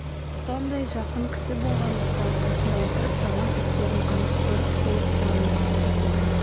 сондай жақын кісі болғандықтан қасында отырып жаман істерін анық көріп толық таныдым